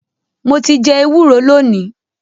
Mo ti jẹ ẹwúro lónìí.